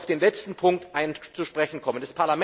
Ich möchte gerne auf den letzten Punkt zu sprechen kommen.